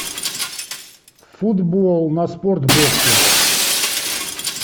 футбол на спортбоксе